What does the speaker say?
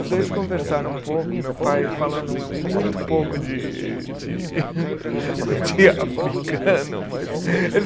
Os dois conversaram um pouco, meu pai fala muito pouco de de de africano, mas eles